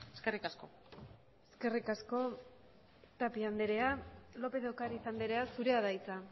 eskerrik asko eskerrik asko tapia andrea lópez de ocariz andrea zurea da hitza